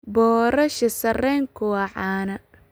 Boorash sarreenku waa caan.